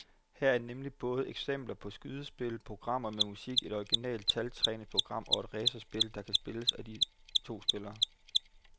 Her er nemlig både eksempler på simple skydespil, programmer med musik, et originalt taltræningsprogram og et racerspil, der kan spilles af to spillere.